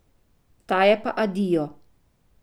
Ta je pa adijo.